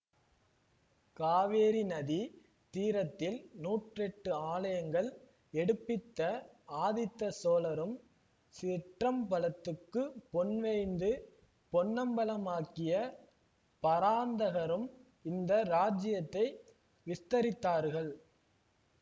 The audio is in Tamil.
காவேரி நதி தீரத்தில் நூற்றெட்டு ஆலயங்கள் எடுப்பித்த ஆதித்த சோழரும் சிற்றம்பலத்துக்குப் பொன் வேய்ந்து பொன்னம்பலமாக்கிய பராந்தகரும் இந்த ராஜ்யத்தை விஸ்தரித்தார்கள்